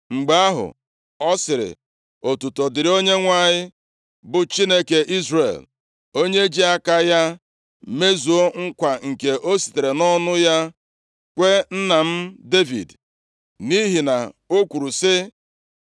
Mgbe ahụ, ọ sịrị, “Otuto dịrị Onyenwe anyị, bụ Chineke Izrel, onye ji aka ya mezuo nkwa nke o sitere nʼọnụ ya kwee nna m Devid. Nʼihi na o kwuru sị,